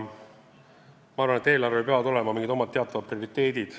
Ma arvan, et eelarvel peavad olema omad teatavad prioriteedid.